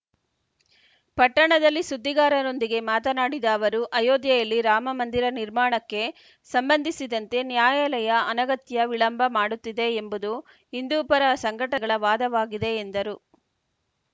ಪಟ್ಟಣದಲ್ಲಿ ಸುದ್ದಿಗಾರರೊಂದಿಗೆ ಮಾತನಾಡಿದ ಅವರು ಅಯೋಧ್ಯೆಯಲ್ಲಿ ರಾಮಮಂದಿರ ನಿರ್ಮಾಣಕ್ಕೆ ಸಂಬಂಧಿಸಿದಂತೆ ನ್ಯಾಯಾಲಯ ಅನಗತ್ಯ ವಿಳಂಬ ಮಾಡುತ್ತಿದೆ ಎಂಬುದು ಹಿಂದೂಪರ ಸಂಘಟಗಳ ವಾದವಾಗಿದೆ ಎಂದರು